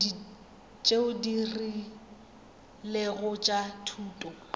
tšeo di rilego tša thuto